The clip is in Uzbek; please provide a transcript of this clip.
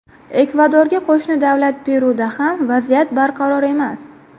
Ekvadorga qo‘shni davlat Peruda ham vaziyat barqaror emas.